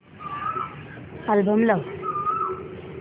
album लाव